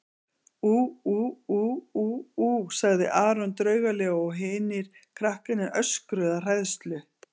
Ú ú ú ú ú, sagði Aron draugalega og hinir krakkarnir öskruðu af hræðslu.